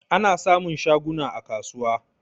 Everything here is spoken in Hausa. Ana samun shaguna a kasuwa.